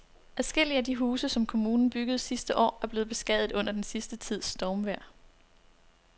Adskillige af de huse, som kommunen byggede sidste år, er blevet beskadiget under den sidste tids stormvejr.